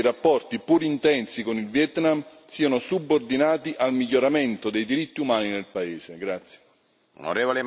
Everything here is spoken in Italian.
Bisogna fare in modo che i rapporti, pur intensi, con il Vietnam siano subordinati al miglioramento dei diritti umani nel paese.